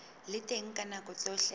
le teng ka nako tsohle